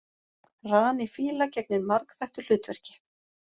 Rani fíla gegnir margþættu hlutverki.